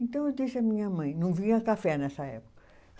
Então, eu à minha mãe. Não vinha café nessa época.